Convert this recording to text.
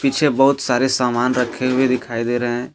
पीछे बहुत सारे सामान रखे हुए दिखाई दे रहे हैं।